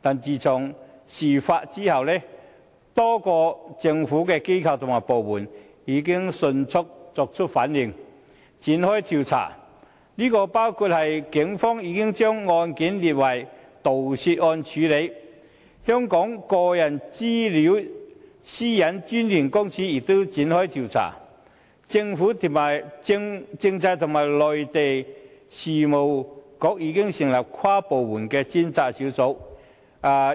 但是，自從事發後，多個政府機構和部門已迅速作出反應，展開調查，包括警方已將案件列作盜竊案處理；香港個人資料私隱專員公署亦已展開調查；政制及內地事務局已成立跨部門專責小組，